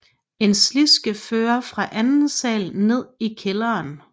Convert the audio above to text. En sliske førte fra anden sal ned i kælderen